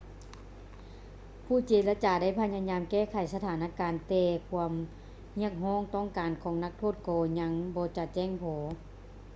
ຜູ້ເຈລະຈາໄດ້ພະຍາຍາມແກ້ໄຂສະຖານະການ ແຕ່ຄວາມຮຽກຮ້ອງຕ້ອງການຂອງນັກໂທດກໍຍັງບໍ່ຈະແຈ້ງພໍ